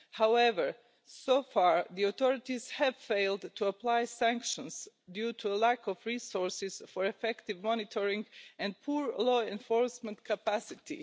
However, so far, the authorities have failed to apply sanctions due to a lack of resources for effective monitoring and poor law enforcement capacity.